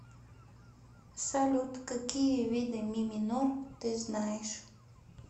салют какие виды ми минор ты знаешь